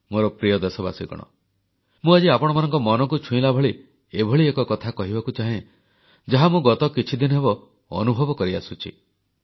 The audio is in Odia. ମୋର ପ୍ରିୟ ଦେଶବାସୀଗଣ ମୁଁ ଆଜି ଆପଣମାନଙ୍କ ମନକୁ ଛୁଇଁଲା ଭଳି ଏଭଳି ଏକ କଥା କହିବାକୁ ଚାହେଁ ଯାହା ମୁଁ ଗତ କିଛିଦିନ ହେବ ଅନୁଭବ କରିଆସୁଛି